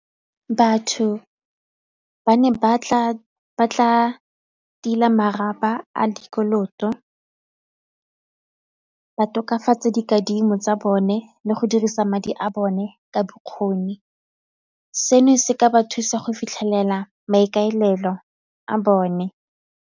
Batho ba ne ba tla tila a dikoloto, ba tokafatsa dikadimo tsa bone le go dirisa madi a bone ka bokgoni, seno se ka ba thusa go fitlhelela maikaelelo a bone.